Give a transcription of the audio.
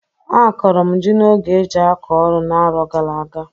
Akọrọ m jị n'oge e jị akọ ọrụ n'aro gara aga.